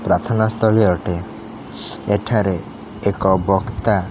ପ୍ରାଥନାସ୍ଥଳି ଅଟେ ଏଠାରେ ଏକ ବକ୍ତା --